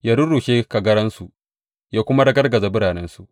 Ya rurrushe kagaransu ya kuma ragargaza biranensu.